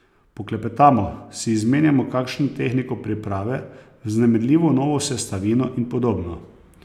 Poklepetamo, si izmenjamo kakšno tehniko priprave, vznemirljivo novo sestavino in podobno.